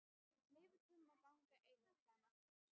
Leyfið honum að ganga einum, sagði Marteinn.